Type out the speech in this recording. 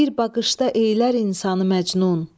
Bir baxışda eylər insanı məcnun.